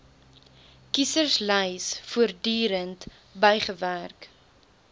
kieserslys voortdurend bygewerk